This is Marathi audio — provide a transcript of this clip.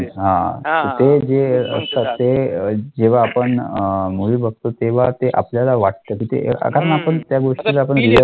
हा ते जे असतात ते अं जेव्हा आपण movie बघतो, तेव्हा ते आपल्याला वाटतं की ते कारण आपण त्या गोष्टीला